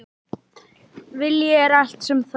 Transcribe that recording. Vilji er allt sem þarf